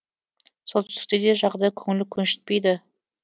солтүстікте де жағдай көңіл көншітпейді